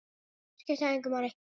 Skiptir það engu máli?